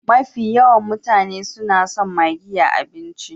Mafi yawan mutane su na son maggi a abinci.